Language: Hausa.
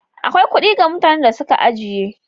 Akwai kuɗi ga mutanen da suka ajiye.